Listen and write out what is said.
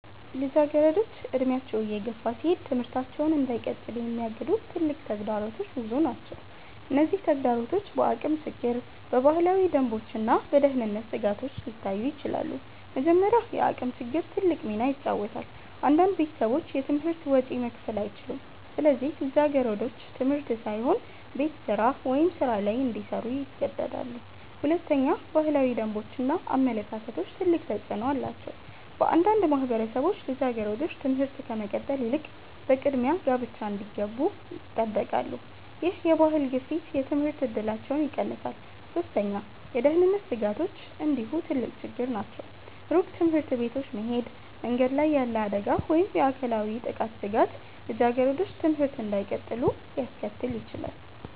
ልጃገረዶች እድሜያቸው እየገፋ ሲሄድ ትምህርታቸውን እንዳይቀጥሉ የሚያግዱ ትልቅ ተግዳሮቶች ብዙ ናቸው። እነዚህ ተግዳሮቶች በአቅም ችግር፣ በባህላዊ ደንቦች እና በደህንነት ስጋቶች ሊታዩ ይችላሉ። መጀመሪያ፣ የአቅም ችግር ትልቅ ሚና ይጫወታል። አንዳንድ ቤተሰቦች የትምህርት ወጪ መክፈል አይችሉም፣ ስለዚህ ልጃገረዶች ትምህርት ሳይሆን ቤት ስራ ወይም ሥራ ላይ እንዲሰሩ ይገደዳሉ። ሁለተኛ፣ ባህላዊ ደንቦች እና አመለካከቶች ትልቅ ተፅዕኖ አላቸው። በአንዳንድ ማህበረሰቦች ልጃገረዶች ትምህርት ከመቀጠል ይልቅ በቅድሚያ ጋብቻ እንዲገቡ ይጠበቃሉ። ይህ የባህል ግፊት የትምህርት እድላቸውን ይቀንሳል። ሶስተኛ፣ የደህንነት ስጋቶች እንዲሁ ትልቅ ችግር ናቸው። ሩቅ ትምህርት ቤቶች መሄድ፣ መንገድ ላይ ያለ አደጋ ወይም የአካላዊ ጥቃት ስጋት ልጃገረዶች ትምህርት እንዳይቀጥሉ ሊያስከትል ይችላል።